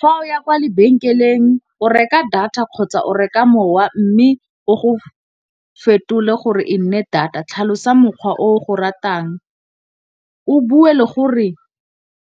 Fa o ya kwa lebenkeleng o reka data kgotsa o reka mowa, mme o go fetole gore e nne data. Tlhalosa mokgwa o go ratang, o bue le gore